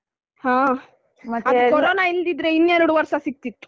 ಹಾ ಮತ್ ಕೋರೊನ ಇಲ್ದಿದ್ರೆ ಇನ್ನೆರಡು ವರ್ಷ ಸಿಗ್ತಿತ್ತು.